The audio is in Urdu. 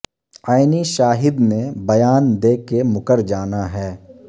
عینی شاہد نے بیاں دے کے مکر جانا ہے